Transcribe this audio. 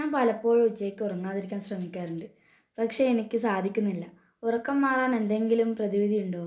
പലപ്പോഴും ഉച്ചക്ക് ഉറങ്ങാതിരിക്കാൻ ശ്രമിക്കുന്നുണ്ട് പക്ഷെ എനിക്ക് സാധിക്കുന്നില്ല ഉറക്കം മാറാൻ എന്തെങ്കിലും പ്രതിവിധിയുണ്ടോ